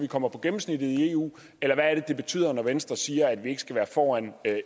kommer på gennemsnittet i eu eller hvad er det det betyder når venstre siger at vi ikke skal være foran